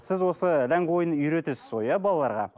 сіз осы ләңгі ойынын үйретесіз ғой иә балаларға